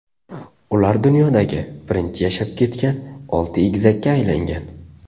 Ular dunyodagi birinchi yashab ketgan olti egizakka aylangan.